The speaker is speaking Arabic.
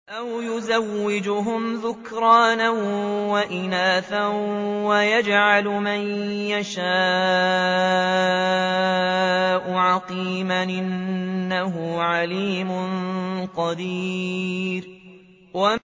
أَوْ يُزَوِّجُهُمْ ذُكْرَانًا وَإِنَاثًا ۖ وَيَجْعَلُ مَن يَشَاءُ عَقِيمًا ۚ إِنَّهُ عَلِيمٌ قَدِيرٌ